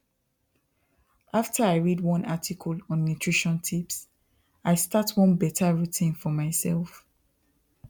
after i read one article on nutrition tips i start one better routine for myself